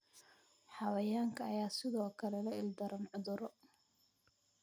Xayawaanka ayaa sidoo kale la ildaran cudurro.